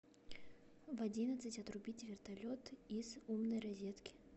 в одиннадцать отрубить вертолет из умной розетки